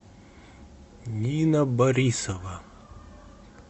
нина борисова